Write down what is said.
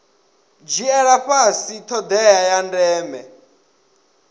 dzhiela fhasi thodea ya ndeme